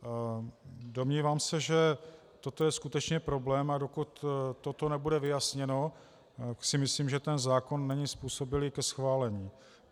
Domnívám se, že toto je skutečně problém, a dokud toto nebude vyjasněno, myslím si, že ten zákon není způsobilý ke schválení.